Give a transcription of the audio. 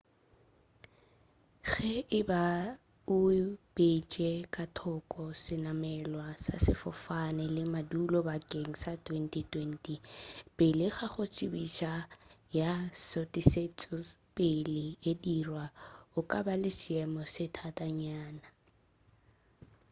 ge e ba o beetše ka thoko senamelwa sa sefofane le madulo bakeng sa 2020 pele ga go tsebišo ya šutišetšopele e dirwa o ka ba le seemo se thatanyana